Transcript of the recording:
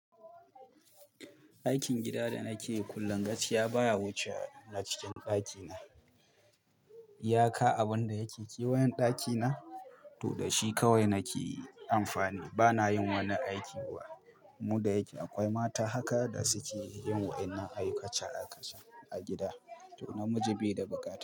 Aikin gida da nake yi kullum gaskiya baya wuce na cikin ɗakina. Iyaka abin da yake kewayen ɗakina, to da shi kawai nake amfani. Bana yin wani aiki kuwa. Mu da yake akwai mata haka da suke yin waɗannan aikace aikacen a gida, to namiji bai da bukata.